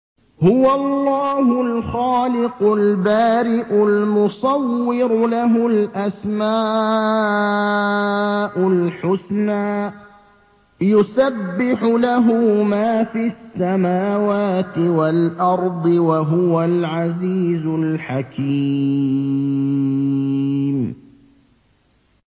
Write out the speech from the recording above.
هُوَ اللَّهُ الْخَالِقُ الْبَارِئُ الْمُصَوِّرُ ۖ لَهُ الْأَسْمَاءُ الْحُسْنَىٰ ۚ يُسَبِّحُ لَهُ مَا فِي السَّمَاوَاتِ وَالْأَرْضِ ۖ وَهُوَ الْعَزِيزُ الْحَكِيمُ